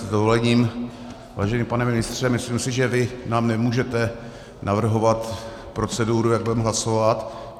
S dovolením, vážený pane ministře, myslím si, že vy nám nemůžete navrhovat proceduru, jak budeme hlasovat.